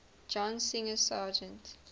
john singer sargent